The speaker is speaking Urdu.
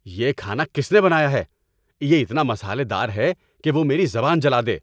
یہ کھانا کس نے بنایا ہے؟ یہ اتنا مسالہ دار ہے کہ وہ میری زبان جلا دے۔